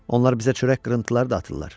Onlar bizə çörək qırıntıları da atırlar.